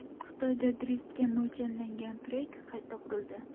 Xitoyda driftga mo‘ljallangan trek qayta qurildi.